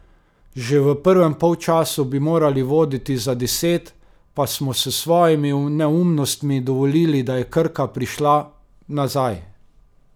Že v prvem polčasu bi morali voditi za deset, pa smo s svojimi neumnostmi dovolili, da je Krka prišla nazaj.